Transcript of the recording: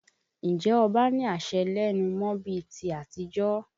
Ǹjẹ́ ọba ní àṣẹ lẹ́nu mọ́ bí i ti àtijọ́?